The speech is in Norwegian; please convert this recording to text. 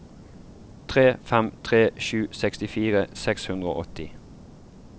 tre fem tre sju sekstifire seks hundre og åtti